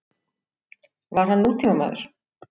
Var hann nútímamaður?